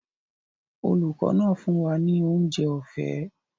Olùkọ́ náà fún wa ní oúnjẹ ọ̀fẹ́